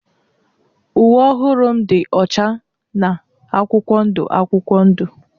Uwe ọhụrụ m dị ọcha na akwụkwọ ndụ akwụkwọ ndụ.